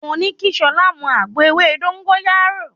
Mo ní kí Ṣọlá mú àgbo ewé dógóyárò.